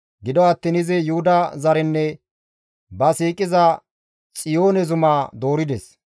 Gido attiin izi Yuhuda zarenne ba siiqiza Xiyoone zumaa doorides.